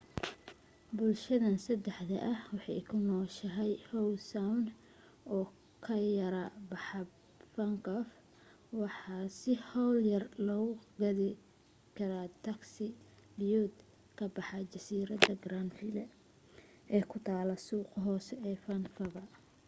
bulshhadan saxda ah waxay ku nooshahay howe sound oo ka yara baxaab vancouver waxana si hawl yar loogu gaadhi kaeaa tagsi biyood ka baxa jasiiradda grandville ee ku taal suuqa hoose ee vancouver